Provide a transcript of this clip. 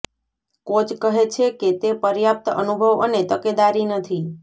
coach કહે છે કે તે પર્યાપ્ત અનુભવ અને તકેદારી નથી